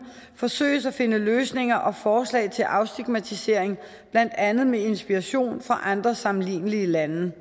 forsøges at finde løsninger og forslag til afstigmatisering blandt andet med inspiration fra andre sammenlignelige lande